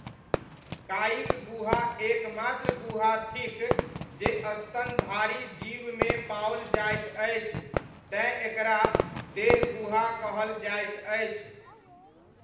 कायिक गुहा एकमात्र गुहा थिक जे स्तनधारी जीवमे पाओल जाइत अछि तेँ एकरा देहगुहा कहल जाइत अछि।